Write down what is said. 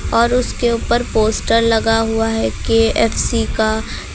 और उसके ऊपर पोस्टर लगा हुआ है के_एफ_सी का--